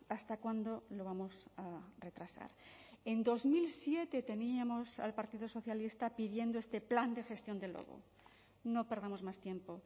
hasta cuándo lo vamos a retrasar en dos mil siete teníamos al partido socialista pidiendo este plan de gestión del lobo no perdamos más tiempo